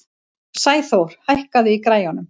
Sæþór, hækkaðu í græjunum.